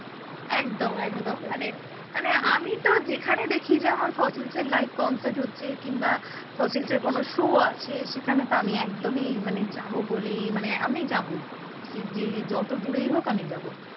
একদম একদম মানে মানে আমি তো যেখানে দেখি যে আমার ফসিলসের live concert হচ্ছে কিংবা ফসিলসের কোন show আছে সেখানে তো আমি একদমই মানে যাব বলেই মানে আমি যাবোই। সে যত দূরেই হোক আমি যাব।